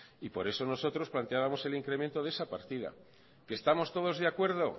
y por eso nosotros planteábamos el incremento de esa partida que estamos todos de acuerdo